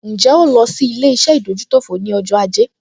Ǹjẹ́ o lọ sí ilé-iṣẹ́ ìdójútòfò ní ọjọ́ ajé?